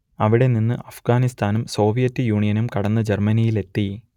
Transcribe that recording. അവിടെ നിന്ന് അഫ്ഗാനിസ്ഥാനും സോവിയറ്റ് യൂണിയനും കടന്ന് ജർമ്മനിയിലെത്തി